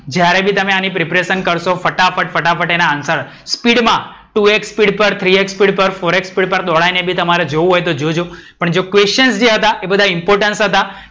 જ્યારે બી તમે આની preparation કરશો ફટાફટ ફટાફટ આના answer સ્પીડ માં two X પર three X સ્પીડ પર four X સ્પીડ પર દોડાઈને તમારે જોવું હોય તો જોજો. પણ જે questions જે હતા એ બધા important હતા.